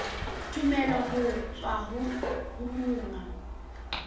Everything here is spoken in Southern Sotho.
tumello ho tswa ho monga